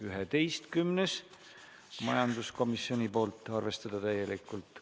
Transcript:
11. ettepanek, majanduskomisjonilt, seisukoht: arvestada täielikult.